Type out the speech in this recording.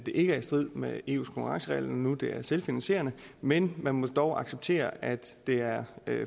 er i strid med eus konkurrenceregler når det er selvfinansierende men man må dog acceptere at det er